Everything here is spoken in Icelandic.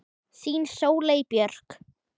Þín Sóley Björk